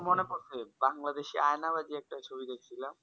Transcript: মনে পড়েছে বাংলাদেশে আইনার বলে একটা ছবি দেখছিলাম